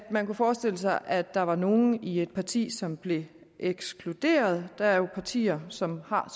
man kunne forestille sig at der var nogle i et parti som blev ekskluderet der er jo partier som har